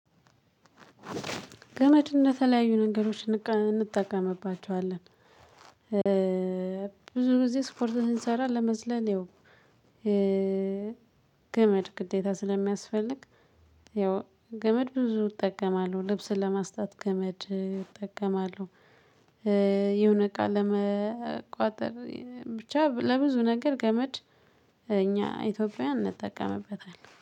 ገመድ እንደ ተለያዩ ነገሮች እንጠቀምባቸዋለን። ብዙ ጊዜ ስፖርት ስንሰራ ለመዝለል ያው ገመድ ግዴታ ስለሚያስፈልግ። ያው ገመድ ብዙ እጠቀማለሁ ልብስን ለማስጣት ገመድ እጠቀማለሁ። የሆነ እቃ ለመቋጠር ብቻ ለብዙ ነገር ገመድ። እኛ ኢትዮጵያውያን እንጠቀምበታለን